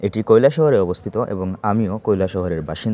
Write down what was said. এটি কয়লা শহরে অবস্থিত এবং আমিও কয়লা শহরের বাসিন্দা।